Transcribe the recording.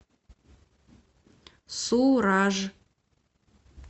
сураж